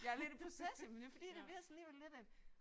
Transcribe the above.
Jeg er lidt i proces jamen det fordi det bliver sådan alligevel lidt et